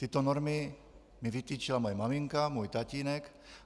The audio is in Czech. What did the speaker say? Tyto normy mi vytyčila moje maminka, můj tatínek.